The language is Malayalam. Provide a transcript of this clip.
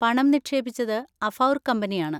പണം നിക്ഷേപിച്ചത് അഫൗർ കമ്പനിയാണ്.